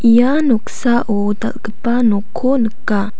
ia noksao dal·gipa nokko nika.